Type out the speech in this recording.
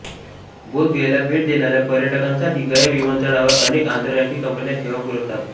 बोधगयेला भेट देणाऱ्या पर्यटकांसाठी गया विमानतळावर अनेक आंतरराष्ट्रीय कंपन्या सेवा पुरवतात